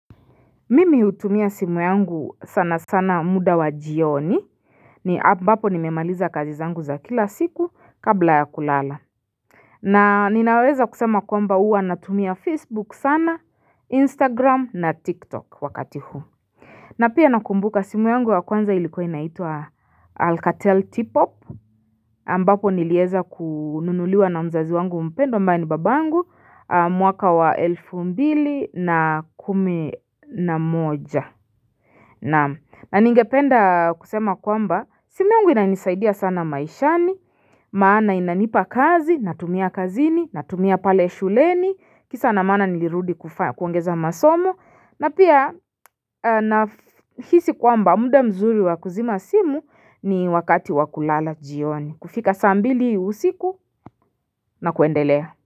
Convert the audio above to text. Mimi hutumia simu yangu sana sana muda wa jioni ambapo nimemaliza kazi zangu za kila siku kabla ya kulala na ninaweza kusema kwamba huwa natumia facebook sana instagram na tiktok wakati huu na pia nakumbuka simu yangu ya kwanza ilikuwa inaitwa alcatel tipop ambapo nilieza kununuliwa na mzazi wangu mpendwa ambaye ni baba angu mwaka wa elfu mbili na kumi na moja Naam na ningependa kusema kwamba simu yangu inanisaidia sana maishani, maana inanipa kazi, natumia kazini, natumia pale shuleni, kisa na maana nilirudi kuongeza masomo, na pia nahisi kwamba muda mzuri wa kuzima simu ni wakati wa kulala jioni, kufika saa mbili usiku na kuendelea.